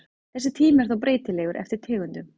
Þessi tími er þó breytilegur eftir tegundum.